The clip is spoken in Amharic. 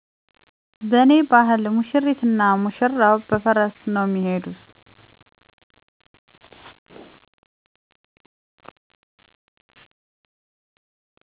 " በኔ ባህል ሙሽሪት እና ሙሽራዉ በፈረስ ነዉ ሚሄዱት።"